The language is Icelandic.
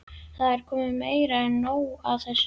Það er komið meira en nóg af þessu!